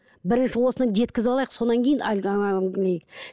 бірінші осыны жеткізіп алайық содан кейін әлгі